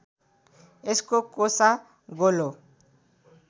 यसको कोसा गोलो